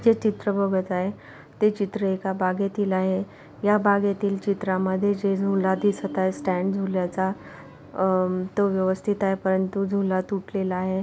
हे चित्र बघत आहे ते चित्र एका बागेतिल आहे. या बागेतिल चित्रामध्ये जे झूला दिसत आहे. स्टँड झुल्याचा अ तो व्यवस्थित आहे परंतु झूला तूटलेला आहे.